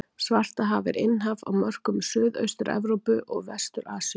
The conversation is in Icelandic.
Svartahaf er innhaf á mörkum Suðaustur-Evrópu og Vestur-Asíu.